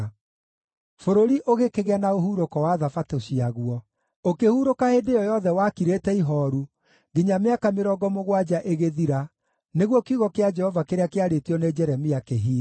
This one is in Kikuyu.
Bũrũri ũgĩkĩgĩa na ũhurũko wa Thabatũ ciaguo; ũkĩhurũka hĩndĩ ĩyo yothe wakirĩte ihooru, nginya mĩaka mĩrongo mũgwanja ĩgĩthira, nĩguo kiugo kĩa Jehova kĩrĩa kĩarĩtio nĩ Jeremia kĩhiinge.